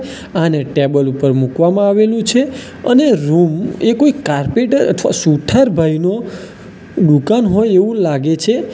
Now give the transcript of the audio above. આને ટેબલ ઉપર મૂકવામાં આવેલું છે અને રૂમ એ કોઈ કારપેટર અથવા સુથાર ભાઈનું દુકાન હોય એવું લાગે છે.